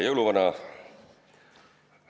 Jõuluvana!